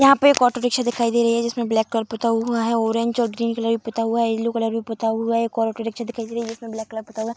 यहाँ पे एक ऑटो रिक्शा दिखाई दे रही है जिसमे ब्लैक कलर पुता हुआ है ऑरेंज और ग्रीन कलर भी पुता हुआ है येलो कलर भी पुता हुआ है एक और ऑटो रिक्शा दिखाई दे रही है जिसमें ब्लैक कलर पुता हुआ है।